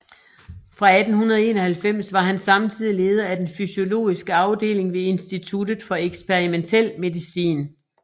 Fra 1891 var han samtidig leder af den fysiologiske afdeling ved instituttet for eksperimentel medicin